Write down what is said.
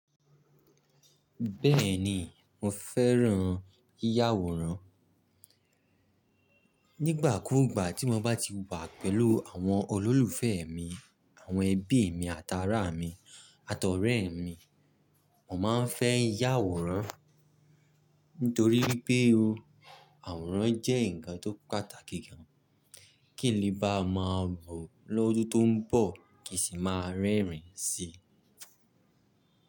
Bẹ́ẹ̀ni, mo fẹ́ràn yiyá àwòrán. Nígbà kúùgbà tí mo bá ti wà pẹ̀lú àwọn olólùfẹ́ mi, àwọn ẹbí mi àtàrá mi àtọ̀rẹ́ mi, mo máa ń fẹ́ yá àwòrán. Nítorí pé o, àwòrán jẹ́ ǹkan tó pàtàkì gan. Kí n le bá máa bọ̀ lọ́dún tó ń bọ̀ kì í sì máa rẹ́rìn-ín si.